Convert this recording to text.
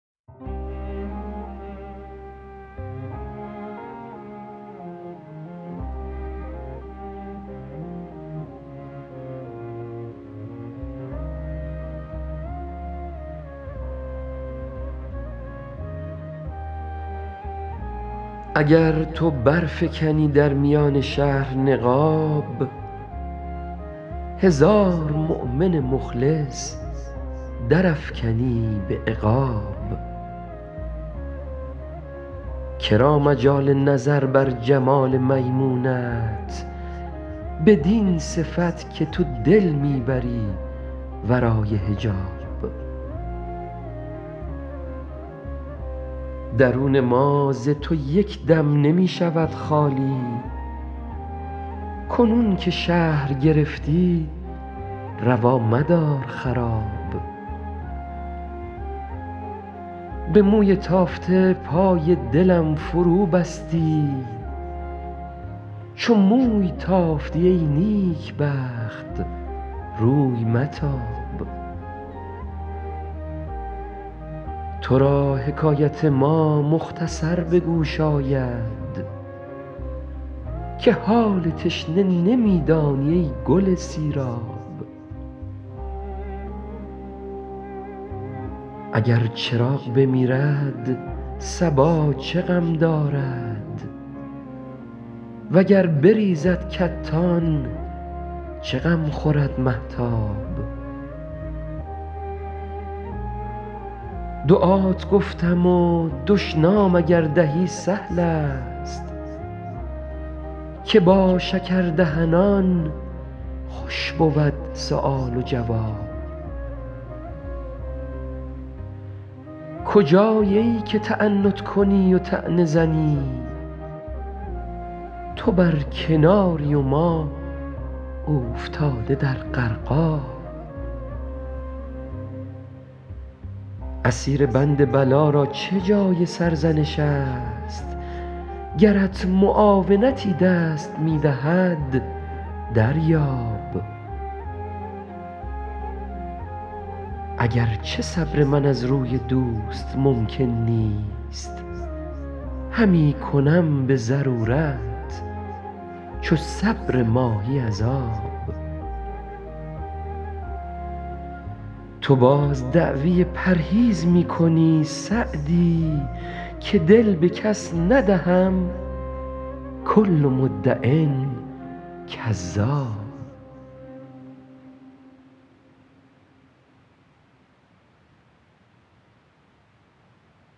اگر تو برفکنی در میان شهر نقاب هزار مؤمن مخلص درافکنی به عقاب که را مجال نظر بر جمال میمونت بدین صفت که تو دل می بری ورای حجاب درون ما ز تو یک دم نمی شود خالی کنون که شهر گرفتی روا مدار خراب به موی تافته پای دلم فروبستی چو موی تافتی ای نیکبخت روی متاب تو را حکایت ما مختصر به گوش آید که حال تشنه نمی دانی ای گل سیراب اگر چراغ بمیرد صبا چه غم دارد و گر بریزد کتان چه غم خورد مهتاب دعات گفتم و دشنام اگر دهی سهل است که با شکردهنان خوش بود سؤال و جواب کجایی ای که تعنت کنی و طعنه زنی تو بر کناری و ما اوفتاده در غرقاب اسیر بند بلا را چه جای سرزنش است گرت معاونتی دست می دهد دریاب اگر چه صبر من از روی دوست ممکن نیست همی کنم به ضرورت چو صبر ماهی از آب تو باز دعوی پرهیز می کنی سعدی که دل به کس ندهم کل مدع کذاب